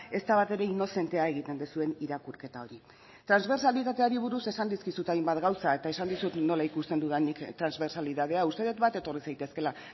ez da batere inozentea egiten duzuen irakurketa hori transbertsalitateari buruz esan dizkizut hainbat gauza eta esan dizut nola ikusten dudan nik transbertsalidadea uste dut bat etorri zaitezkeela